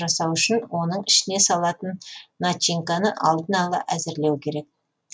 жасау үшін оның ішіне салатын начинканы алдын ала әзірлеу керек